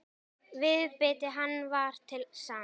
Viðbiti hann var til sanns.